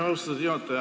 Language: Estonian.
Austatud juhataja!